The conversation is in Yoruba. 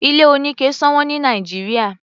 Ilé oníke sọ̀wọ́n ní Nàìjíríà.